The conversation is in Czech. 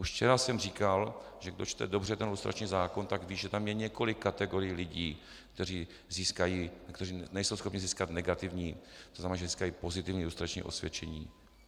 Už včera jsem říkal, že kdo čte dobře ten lustrační zákon, tak ví, že tam je několik kategorií lidí, kteří nejsou schopni získat negativní, to znamená, že získají pozitivní lustrační osvědčení.